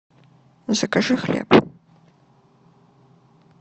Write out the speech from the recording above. закажи хлеб